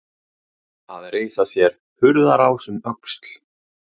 Að reisa sér hurðarás um öxl